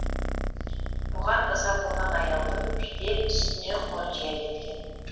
бұған ыза болған аяулым бірде үстіне қонжия кеткен